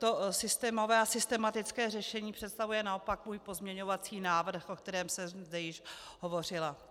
To systémové a systematické řešení představuje naopak můj pozměňovací návrh, o kterém jsem zde již hovořila.